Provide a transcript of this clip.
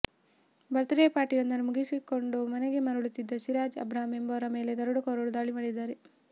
ಬರ್ತ್ day ಪಾರ್ಟಿಯೊಂದನ್ನು ಮುಗಿಸಿಕೊಂಡು ಮನೆಗೆ ಮರಳುತ್ತಿದ್ದ ಸಿರಾಜ್ ಅಬ್ರಾಂ ಎಂಬುವರ ಮೇಲೆ ದರೋಡೆಕೋರರು ದಾಳಿ ಮಾಡಿದ್ದಾರೆ